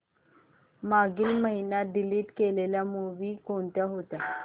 मागील महिन्यात डिलीट केलेल्या मूवीझ कोणत्या होत्या